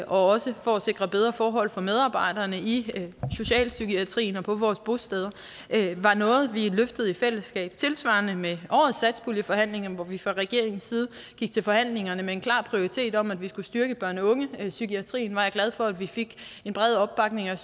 også for at sikre bedre forhold for medarbejderne i socialpsykiatrien og på vores bosteder det var noget vi løftede i fællesskab tilsvarende med årets satspuljeforhandlinger hvor vi fra regeringens side gik til forhandlingerne med en klar prioritering om at vi skulle styrke børne og ungepsykiatrien der var jeg glad for at vi fik en bred opbakning og